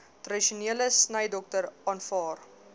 tradisionele snydokter aanvaar